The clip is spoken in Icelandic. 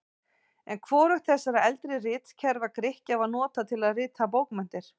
En hvorugt þessara eldri ritkerfa Grikkja var notað til að rita bókmenntir.